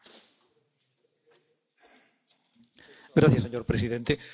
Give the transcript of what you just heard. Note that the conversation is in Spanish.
Señor presidente, hago mías todas las palabras de usted, señora Mogherini.